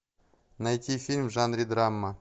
найти фильм в жанре драма